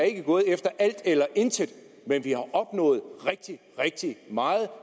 ikke er gået efter alt eller intet men vi har opnået rigtig rigtig meget